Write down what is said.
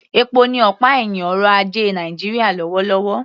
Epo ni ọ̀pá ẹ̀hìn ọrọ̀ ajé Nàìjíríà lọ́wọ́lọ́wọ́